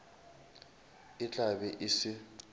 e tla be e se